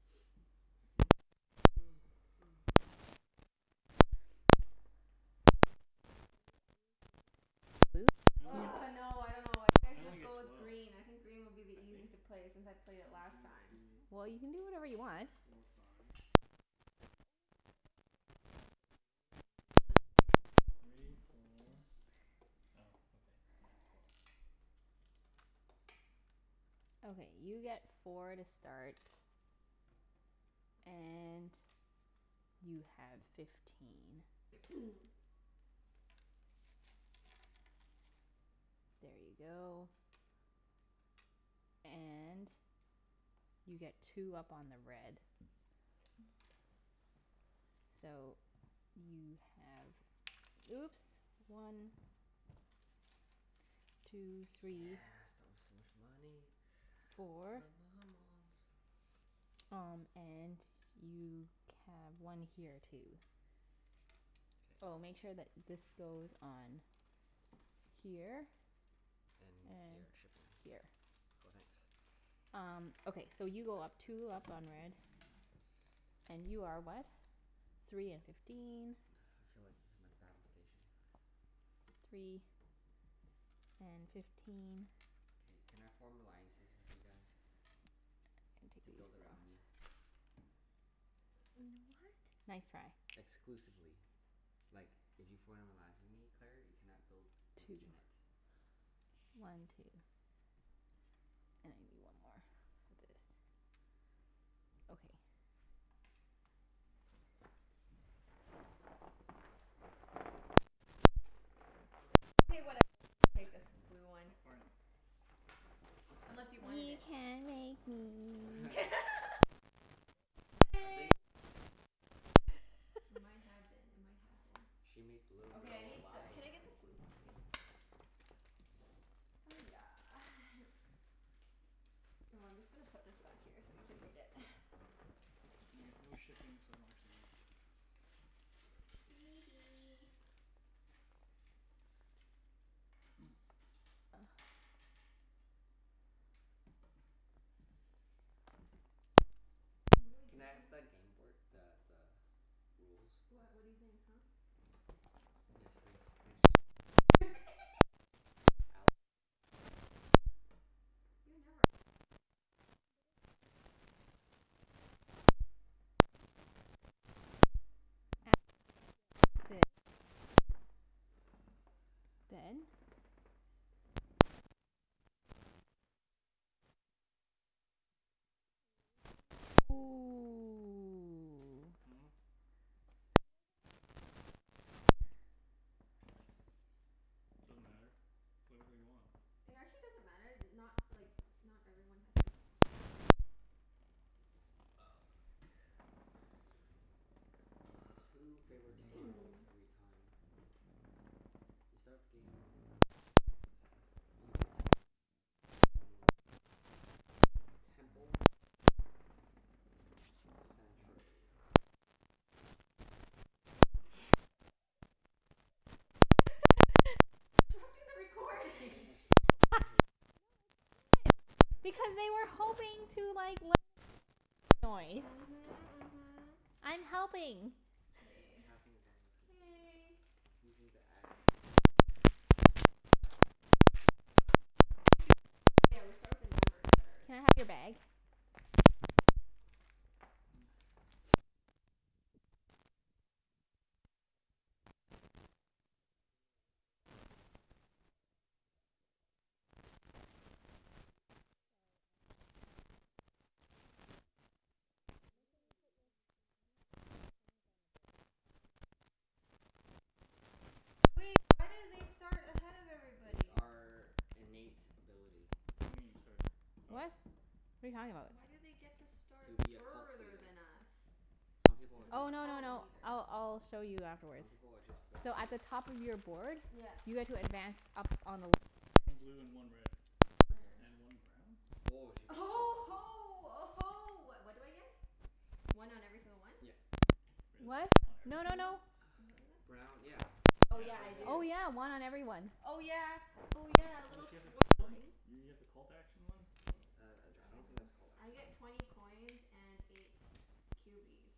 Fifteen? No, I only get Are you are you thinking of choosing blue? I only get, Argh, no, I dunno. I think I I should only just get go with twelve. green. I think green will be the I think. easiest to play, since I played it One last two time. Well, you can do whatever three you want. four five. But then the only thing is I don't like the One special two action. three four, oh okay. Yeah, twelve. Okay, you get four to start. And you have fifteen. There you go. And you get two up on the red. So, you have, oops. One. Two three. Yeah, start with so much money. Four. Um and you can, one here too. K. Oh, make sure that this goes on here. And And here. Shipping here. here. Cool, thanks. Um, okay. So you go up two up on the red. And you are what? Three and fifteen. I feel like this is my battle station. Three and fifteen. K, can I form alliances with you guys to build around me? Mm, what? Nice try. Exclusively. Like, if you form an alliance with me, Claire, you cannot build with Two Junette. more. One two. And I need one more for this. Okay. Okay, whatever. I'm gonna take this blue one. Stop farting. Unless you wanted You it? can't make me. She I think it farted. was her yesterday. It might have been. It might have been. She made the little Okay, I girl need the, lie. can I get the blue p- Oh yeah. Oh, I'm just gonna put this back here so you can read it. And I get no shipping, so I don't actually need this. Hee hee. What do I do Can I have again? the gameboard, the the rules? What, what do you think, huh? Yes, thanks thanks Junette. I'm not allying with you anymore, Claire. You never ally with me. Yeah, I What is this for? After you get this six, go Then? again. You may only place this dwelling after all players necessary after nomads. Ooh. Hmm? Are you guys all playing the hard one? Doesn't matter. Play whatever you want. It actually doesn't matter. Not, like not everyone has to do that. Oh. I get two favorite tiles every time. You start the game when dwelling You get two favorite tiles instead of one when you build temple or sanctuary. You're disrupting the If you're recording. building a stronghold No, take one action it's good token as a because they were hoping special to like learn You may about background take noise. the Mhm, mhm. I'm helping. K. Passing is also considered K. Using the action to keep track of using the special Wait do we uh, oh yeah, we start with the numbers that are Can I in have your bag? You may only place th- this dwelling after all players have built all K, I'm ready. theirs. Sorry, I'm setting mine up. Okay. Make Ooh, sure you you're put gonna be your, you green. have Hmm? to put your things on the board. Oh yeah, I almost forgot about that. Wait, why do they start ahead of It's everybody? our innate ability. What do you mean you start? Oh. What? What are you talking about? Why do they get to start To be a cult further leader. than us? Some people As are a just Oh, no no cult no. leader. I'll I'll show you Some afterwards. people are just born So at the better. top of your board Yeah. you guys will advance up on the little One squares. blue and one red. Where? And one brown? Woah, she Uh gets huh oh huh ho uh ho. What what do I get? One on every single one? Yep. Really? What? On every No no single one? no. Brown, yeah. Oh yeah, Yeah. Cuz I this. do. Oh, yeah. One on every one. Oh yeah, oh yeah. A Oh, little she has a cult one? swarmling. You get the cult action one? Wow, Uh I I I interesting. don't think dunno. that's called I get twenty coins and eight cubies.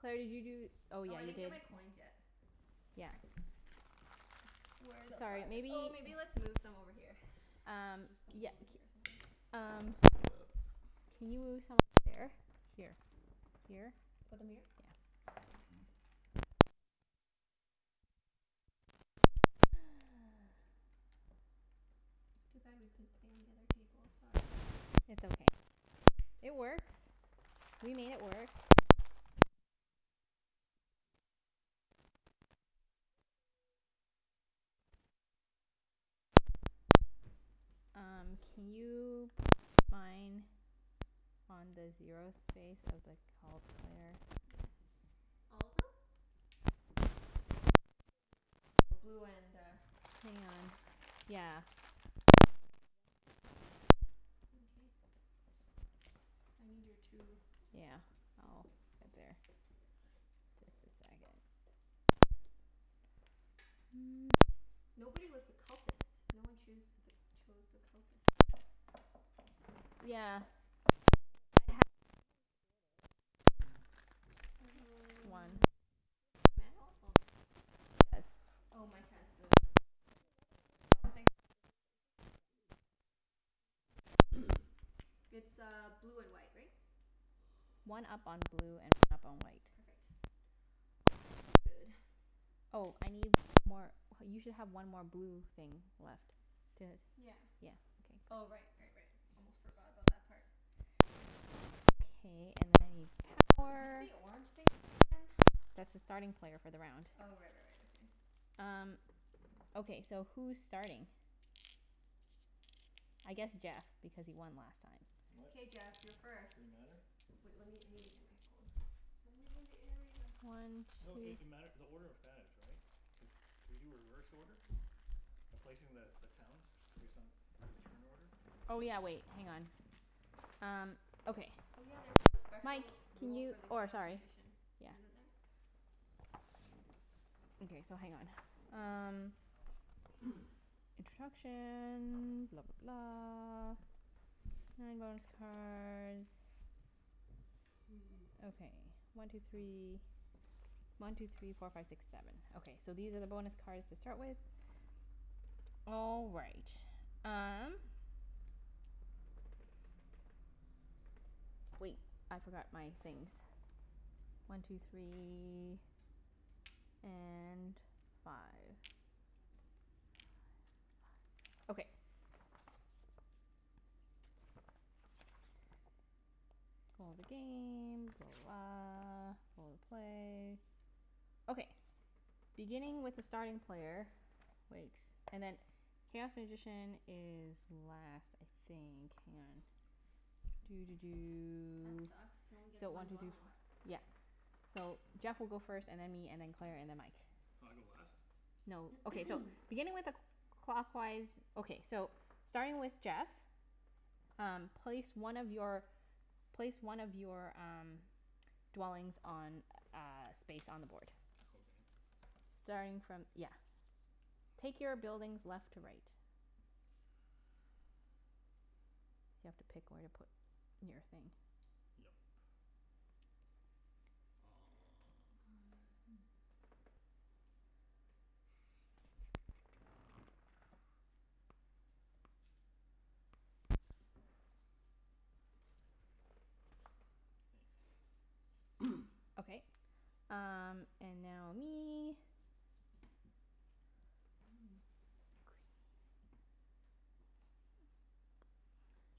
Claire, did you do oh, Oh, yeah, I you didn't get gave my coins yet. Yeah. Sorry. Where the Sorry, f- maybe oh, maybe let's move some over here. Um, Just put some yeah. over here or C- something. um Can you move some over there? Here. Here? Put them here? Yeah. That might help. Too bad we couldn't play on the other table. Sorry. It's okay. Twenty It coins. works. We made it work. Oops. Hee hee. Um can you put mine on the zero space of the cult, Claire? Yes. All of them? Which one do you get to v- oh, blue and uh Hang on. Yeah. One one blue, one white. Mkay. I need your two Yeah. I'll put it there. Just a second. Nobody was the cultist. No one choose th- chose the cultist. Yeah. I Can I read I the ha- manual again? The manual I thing? have sort of. One. Mm. Do you have the manual? Oh no, here it is. Mike does. Oh, Oh, Mike? Mike has the, H- there's another one but I here don't you go. think, Oh. is this French or something? Yeah. Oh. Mkay. It's uh blue and white, right? One up on blue and one up on white. Perfect. All good. Oh, I need one more, you should have one more blue thing left. Did, Yeah. yeah, okay. Oh Good. right, right, right. Almost forgot about that part. Okay, and then I need What's power. the orange thing for again? That's the starting player for the round. Oh right, right, right. Okay. Um, okay so who's starting? I guess Jeff, because he won last time. What? K Jeff, you're first. Does it matter? Wait, let me, I need to get my phone. I'm leaving the area. One No it two it mat- the order matters, right? Cuz do we do reverse order by placing the the towns return order? Oh yeah, wait. Hang on. Um okay. Oh yeah, there's some Mike, special can rule you, for the oh, chaos sorry. magician. Yeah. Isn't there? Okay, so hang on. Um Oh. Instructions. Blah blah blah. Okay, one two three One two three four five six seven. Okay, so these are the bonus cards to start with. All right. Um Wait, I forgot my things. One two three And five. Five five. Okay. All the game. Blah, blah, blah. All the play. Okay. Beginning with the starting player Wait. And then, chaos magician is last, I think. Hang on. Doo doo That doo. sucks. Can only get So one one two three four dwelling. Yep. So Jeff will go first, and then me, and then Claire, and then Mike. So I go last? No, okay, Or so. Beginning with a cl- clockwise Okay, so starting with Jeff Um place one of your, place one of your um dwellings on a space on the board. Okay. Starting from, yeah. Take your buildings left to right. You have to pick where to put your thing. Yep. Oh yeah, Um hmm. Okay. Um and now me.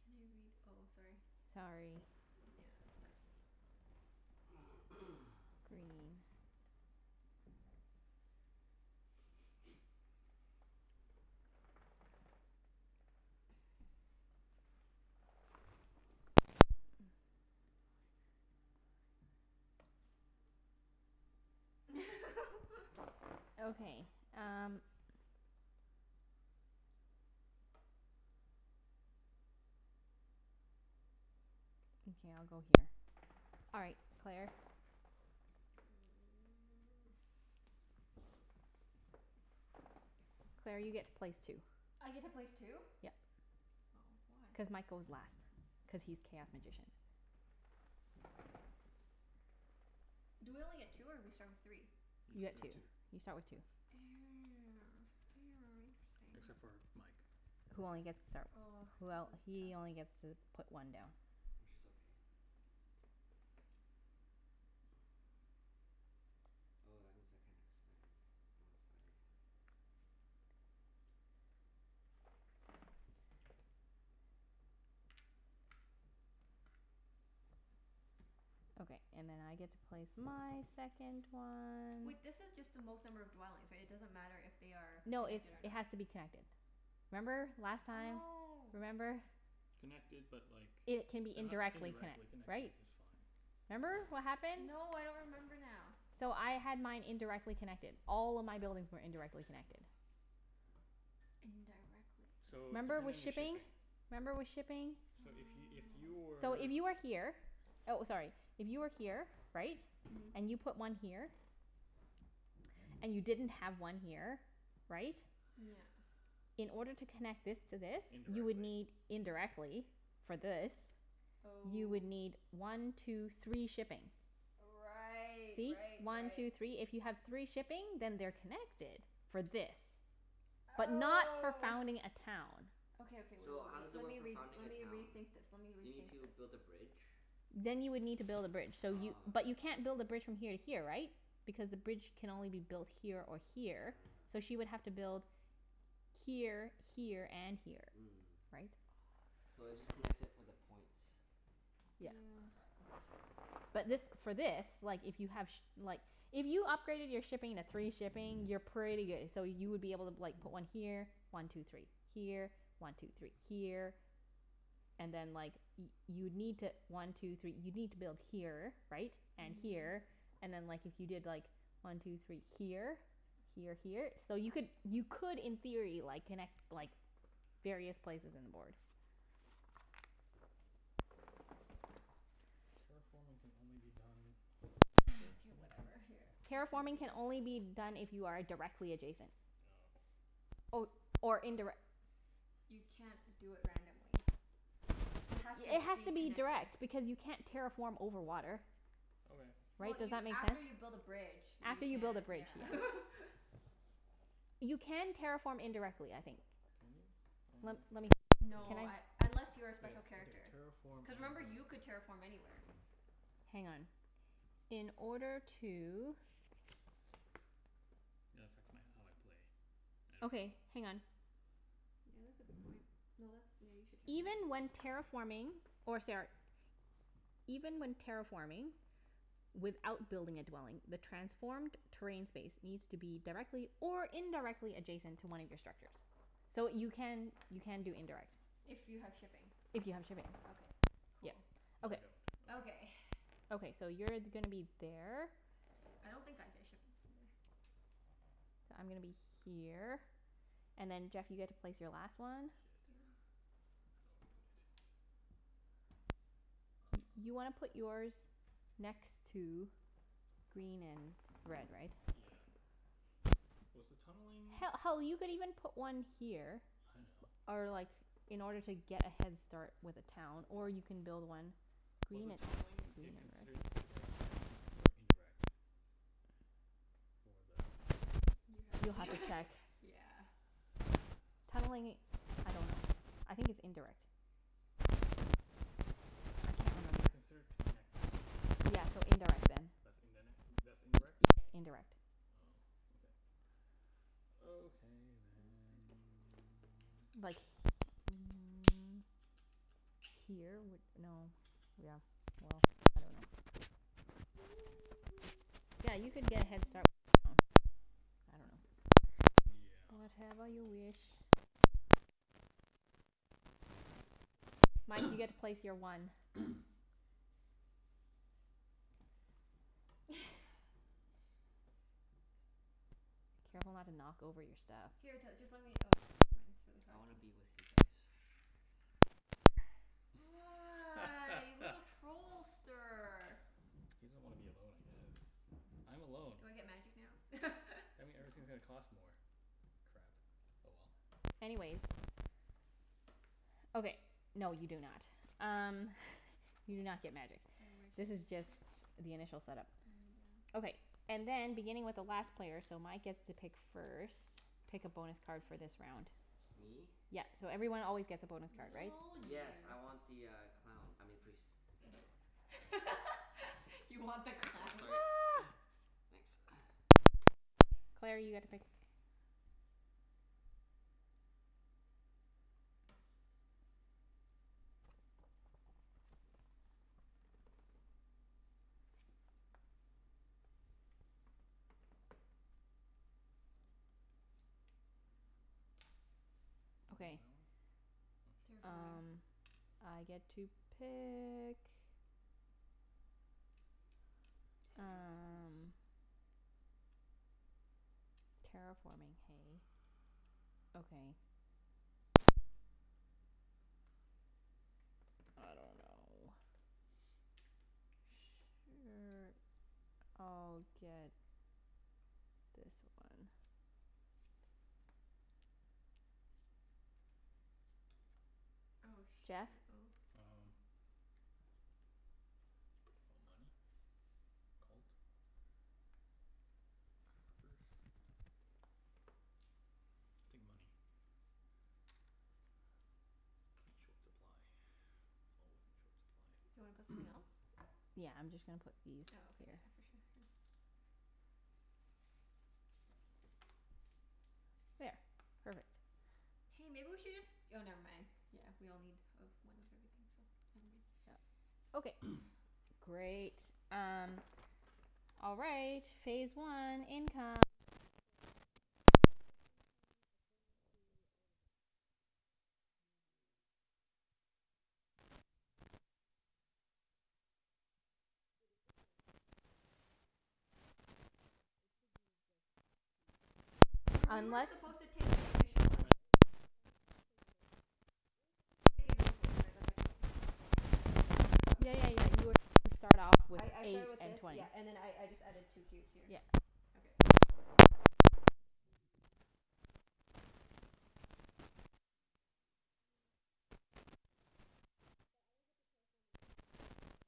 Can I read, oh, sorry. Sorry. Yeah, it's okay. Green. Okay, um Okay, I'll go here. All right, Claire. Claire, you get to place two. I get to place two? Yep. Oh. Why? Cuz Mike goes last, cuz he's chaos magician. Do we only get two or we start with three? You You get two. start two. You start with two. Except Interesting. for Mike. Who only gets to start, Oh, well, this is tough. he only gets to put one down. Which is okay. Oh, that means I can't expand unless I Okay, and then I get to place my second one. Wait, this is just the most number of dwellings, right? It doesn't matter if they are No, it's, connected or it not. has to be connected. Remember, last time? Oh. Remember? Connected but like they It can be h- indirectly indirectly connect- connected right? is fine. Remember what happened? No, I don't remember now. So I had mine indirectly connected. All of my buildings were indirectly connected. Indirectly. So, Remember depending with on your shipping? shipping. Remember with shipping? So if y- if you So were if you were here, oh, sorry. If you were here, right? Mhm. And you put one here. And you didn't have one here, right? Yeah. In order to connect this to this, you would Indirectly. need, indirectly for this You would Oh. need one two three shipping. Right, See? right, One right. two three. If you have three shipping then they're connected for this. But not for Oh. founding a town. Okay, okay. Wait, wait, So, how wait. does it Let work me for re- founding let a me town? rethink this. Let me Do you need rethink to this. build a bridge? Then you would need to build a bridge. So you, Ah, but okay. you can't build a bridge from here to here, right? Because the bridge can only be built here or here, so she would have to build here, here, and here. Mm. Right? So it just connects it for the points. Yeah. Yeah. But this, for this, like if you have shi- like If you upgraded your shipping to three shipping, you're pretty good. So you would be able to like put one here. One two three. Here. One two three. Here. And then like y- you'd need to, one two three, you'd need to build here, right? And Mhm. here. And then like, if you did like, one two three here? Here, here. So you could, you could in theory like, connect like various places in the board. Terraforming can only be done directly Okay, connected? whatever. Here, I'm Terraforming just can gonna do only be this. done if you are a- directly adjacent. No. Or, or indirec- You can't do it randomly. You have to It has be to be connected. direct because you can't terraform over water. Okay. Well Right? Does you, that make after sense? you build a bridge you After you build a can, bridge, yeah. yeah. You can terraform indirectly, I think. Can you? Let let me see. Can No, I, I unless Just you're a wait, special okay, character. terraform Cuz remember, you could terraform anywhere. Hang on. In order to Might affect my how I play. I don't Okay, know. hang on. Yeah, that's a good point. No, that's, yeah, you should check that. Even when terraforming or sara- Even when terraforming without building a dwelling the transformed terrain space needs to be directly or indirectly adjacent to one of your structures. So you can, you can do indirect. If you have shipping. If you have shipping, Okay. yeah. Cool. Which I Okay. don't. Okay. Okay. Okay, so you're gonna be there. I don't think I get shipping for the I'm gonna be here, and then Jeff you get to place your last one. Shit. Yeah. I don't know where to put it. Y- you wanna put yours next to green and red, right? Yeah. Was the tunneling He- hell, you could even put one here I know. or like, in order to get a head start with a town. Or you can build one Was Green the tunneling it considered direct connection or indirect? For the You have You'll have to to check. yeah. Tunneling, I dunno. I think it's indirect. They I are can't consid- they are remember. considered connected. Yeah, so indirect then. That's indin- that's Yes, indirect? indirect. Oh, okay. Okay then. Like mm Here would, no, yeah. Well, I dunno. Yeah, you could get a head start with your town. Yeah. Whatever you Probably. wish. Sure. I dunno. I'll do that for now. Okay. Mike, you get to place your one. Careful not to Oh. knock over your stuff. Here t- just let me, oh, okay, never mind. It's really I hard wanna to be with you guys. Right there. Ah, you little trollster. He doesn't want to be alone, I guess. I'm alone. Do I get magic now? That mean No. everything's gonna cost more. Crap. Oh well. Anyways. Okay. No, you do not. Um you do not get magic. I wish This I is just did. the initial set up. Mm, yeah. Okay. And then beginning with the last player, so Mike gets to pick first. Pick a bonus card for this Please. round. Me? Yep, so everyone always gets a bonus card, Little right? old Yes, you. I want the uh clown. I mean priest. You want the Thank. Oops, clown. sorry. Thanks. Okay. Claire, you get to pick. that Okay. one. Oh shit. Terraforming. Um I get to pick. Terraform us. Um. Terraforming, hey? Okay. I dunno. Sure, I'll get this one. Oh Jeff? shoot. Oh. Um, money? Cult. Um. Workers. I'll take money. I'm in short supply. Always in short supply. Do you wanna put something else? Yeah, I'm just gonna put these Oh, okay, here. yeah. For sure. Here. There. Perfect. Hey, maybe we should just, oh never mind. Yeah, we all need, of, one of everything, so never mind. Yep. Okay, great. Um All right. Phase one. Income. So, take income according to all the things. You know So I how get three it cubes. works. One two three. Wait, it's just your, it's just that, sorry. Yeah a- Yeah. it should be just Were, cubes. we were Unless supposed to take the initial Oh, ones, and then right? and then your bonus. And and Your also bonus. your Okay. bonus. We were supposed to take these initial ones, right? Like, I took twenty coins and Yes, stuff? yes. Oh, okay. Yeah yeah yeah, you were supposed to start off with I I eight started with and this, twenty. yeah, and then I I just added two cubes here. Yep. Okay. And now we do one two three. Okay. But I don't get to terraform until it's my turn, right?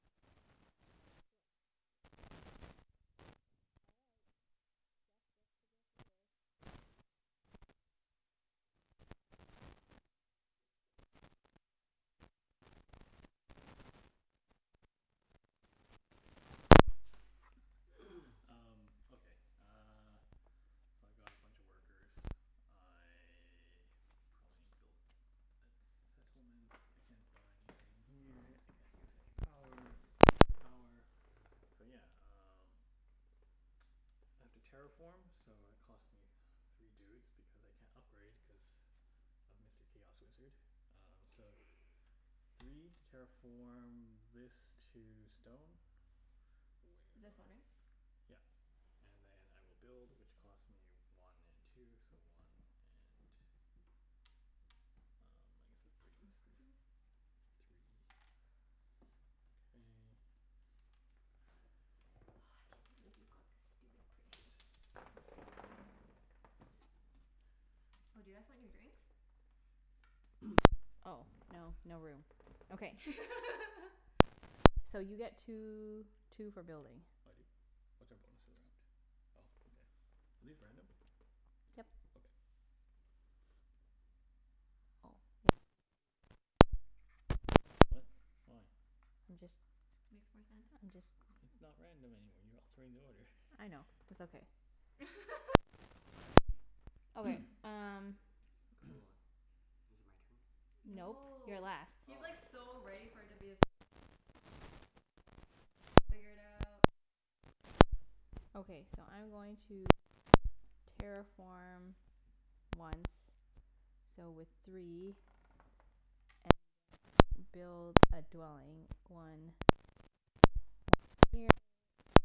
Correct. Yeah. All right. Jeff gets to go first. Oh, I do? Bloody hell. Um Yep. Yep. Um, okay uh So I've got a bunch of workers. I probably need to build a settlement. I can't buy anything here. I can't use any power. I don't have any power. So yeah, um I have to terraform so it cost me three dudes, because I can't upgrade, cuz of Mr. Chaos Wizard. Um so, three to terraform this to stone. Where It's this one, though? right? Yep. And then I will build which costs me one and two, so one and Um, Don't touch my workers. I guess three, K. Oh, I can't believe you got the stupid priest. Shit. Oh, do you guys want your drinks? Oh, no. No room. Okay. Okay. So you get two two for building. I do? What's our bonus for the round? Oh, okay. Are these random? Yep. Okay. Oh, maybe we should do this. What? Why? I'm just Makes more sense. I'm just It's not random anymore. You're altering the order. I know. It's okay. Okay, um Cool. Is it my turn? Nope. You're No. last. He's like Oh. so ready for it to be his turn. He's like got his stuff all figured out. Okay, so I'm going to terraform once. So with three And then build a dwelling. One one here